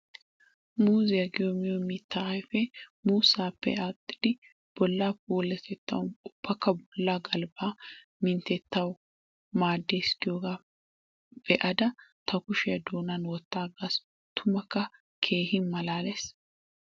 Muuzziya giyo miyo mitta ayfe muussappe aaxxiddi bolla puulatettawu ubbakka bolla galbba minttetuwawu maades giyoga be'adda ta kushiya doonan wottagassi! Tummakka keehi malaalees!